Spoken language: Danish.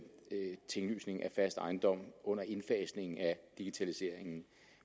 tinglysningen af fast ejendom under indfasningen af digitaliseringen